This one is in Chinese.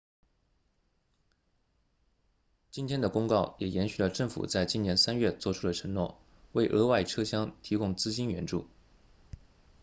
今天的公告也延续了政府在今年3月作出的承诺为额外车厢提供资金援助